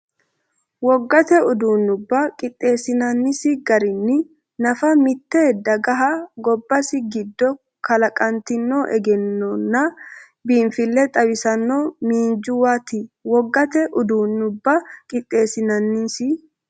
Wogate uduun- nubba qixxeessinannisi garinni nafa mitte dagaha gobbase giddo kala- qantino egennonna biinfille xawissanno miinjuwaati Wogate uduun- nubba qixxeessinannisi.